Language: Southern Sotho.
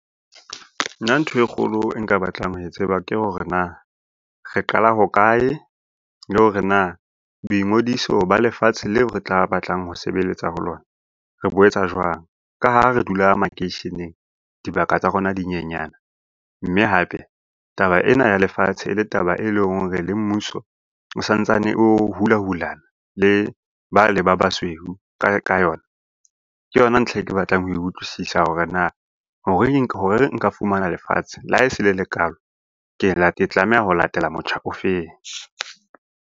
Nna ntho e kgolo e nka batlang ho e tseba ke hore na, re qala hokae le hore na boingodiso ba lefatshe leo re tla batlang ho sebeletsa ho lona, re bo etsa jwang. Ka ha re dula makeisheneng, dibaka tsa rona di nyenyana, mme hape taba ena ya lefatshe e le e leng hore le mmuso o santsane o hulahulana le ba le ba basweu ka yona, ke yona ntlha e ke batlang ho utlwisisa hore na hore nka fumana lefatshe le ha e se le le kalo, ke tlameha ho latela motjha o feng.